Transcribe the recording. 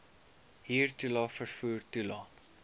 huurtoelae vervoer toelae